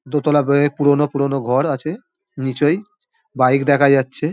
দোতলা বয়ে পুরোনো পুরোনো ঘর আছে নিচয় বাইক দেখা যাচ্ছে।